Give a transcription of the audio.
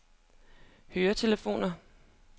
høretelefoner